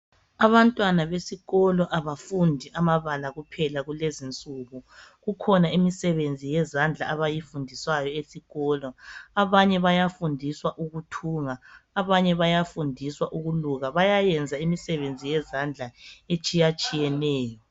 Abantwana besikolo abafundi amabala kuphela kulezinsuku kukhona imisebenzi yezandla abayifundiswayo esikolo, abanye bayafundisa ukuthunga abanye bayafundiswa ukuluka bayayenza imisebenzi yezandla etshiyatshiyeneyo.